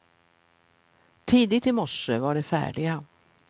Tidigt i morse var de färdiga.